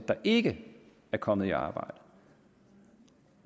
der ikke er kommet i arbejde